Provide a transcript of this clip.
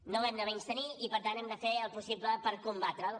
no l’hem de menystenir i per tant hem de fer el possible per combatre’l